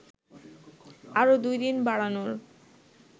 আরও ২ দিন বাড়ানোর